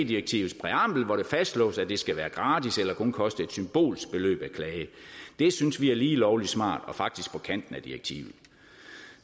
direktivets præambel hvori det fastslås at det skal være gratis eller kun koste et symbolsk beløb at klage det synes vi er lige lovlig smart og faktisk på kanten af direktivet